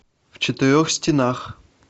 в четырех стенах